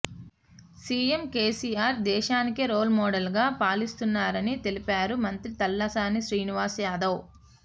CM KCR దేశానికే role model గా పాలిస్తున్నారని తెలిపారు మంత్రి తలసాని శ్రీనివాస్ యాదవ్